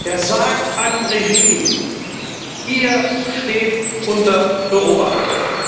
Er sagt einem Regime Ihr steht unter Beobachtung.